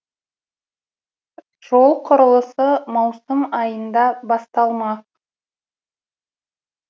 жол құрылысы маусым айында басталмақ